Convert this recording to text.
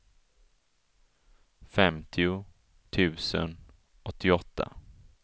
femtio tusen åttioåtta